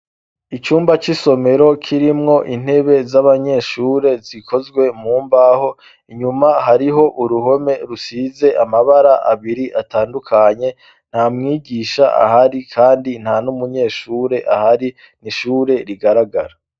Icumba c'isomero kirimwo intebe z'abanyeshure zikozwe mu mbaho inyuma hariho uruhome rusize amabara abiri atandukanye nta mwigisha ahari, kandi nta n'umunyeshure ahari n'ishure rigaragara.